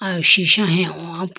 aw sisha he howa po.